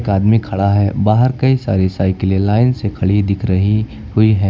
एक आदमी खड़ा है बाहर कई सारी साइकिलें लाइन से खड़ी दिख रही हुई हैं।